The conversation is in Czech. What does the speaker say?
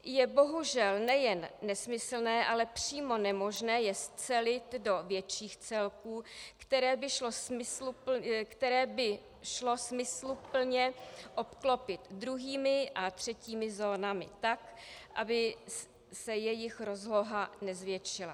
Je bohužel nejen nesmyslné, ale přímo nemožné je scelit do větších celků, které by šlo smysluplně obklopit druhými a třetími zónami tak, aby se jejich rozloha nezvětšila.